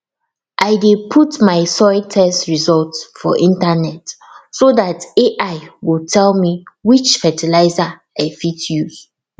i dey put my soil test results for internet so dat ai go tell me which fertilizer i fit use